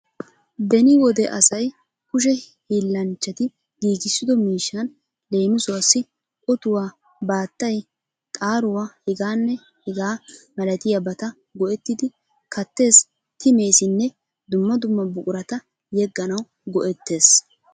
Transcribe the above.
Beni wode asay kushe hiillanchchati giigissido miishshan leemisuwaassi otuwa, baattay, xaaruwa hegaanne hegaa malatiyabata go'ettidi kattes, timesinne dumma dumma buqurata yegganawu go'ettes